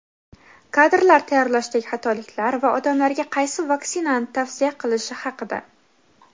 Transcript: kadrlar tayyorlashdagi xatoliklar va odamlarga qaysi vaksinani tavsiya qilishi haqida.